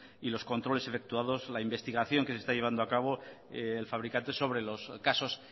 y los controles efectuados la investigación que está llevando a cabo el fabricante sobre los casos